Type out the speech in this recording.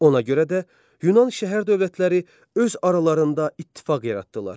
Ona görə də Yunan şəhər-dövlətləri öz aralarında ittifaq yaratdılar.